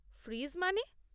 Fridge মানে?